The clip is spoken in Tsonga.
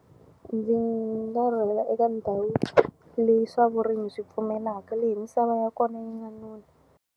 Ndzi nga rhurhela eka ndhawu leyi swa vurimi swi pfumelaka, leyi misava ya kona yi nga nona.